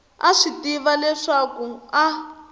a swi tiva leswaku a